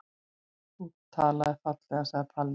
Þú talaðir fallega, sagði Palli.